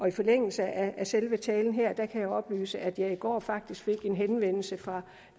i forlængelse af selve talen her kan jeg oplyse at jeg i går faktisk fik en henvendelse fra